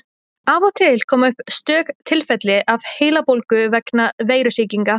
Af og til koma upp stök tilfelli af heilabólgu vegna veirusýkinga.